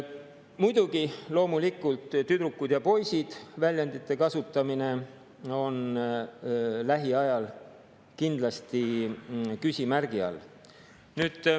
Muidugi, väljendite "tüdrukud" ja "poisid" kasutamine on lähiajal kindlasti küsimärgi all.